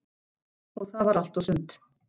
Og það var allt og sumt.